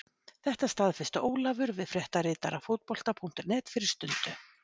Þetta staðfesti Ólafur við fréttaritara Fótbolta.net fyrir stundu.